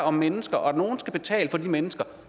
om mennesker og nogle skal betale for de mennesker